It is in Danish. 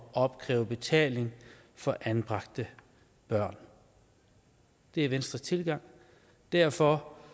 opkræve betaling for anbragte børn det er venstres tilgang og derfor